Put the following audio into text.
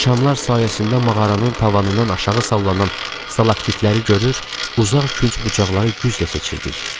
Şamlar sayəsində mağaranın tavanından aşağı sallanan salaktitləri görür, uzaq künc bucaqları güclə seçirdik.